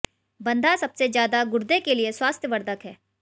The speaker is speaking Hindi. बंधा सबसे ज्यादा गुर्दे के लिए स्वास्थ वर्धक है